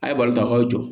A ye bali ka k'aw jɔ